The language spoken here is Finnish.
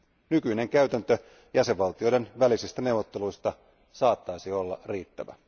Nykyinen käytäntö jäsenvaltioiden välisistä neuvotteluista saattaisi olla riittävä.